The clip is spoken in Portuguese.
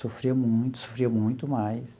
Sofria muito, sofria muito mais.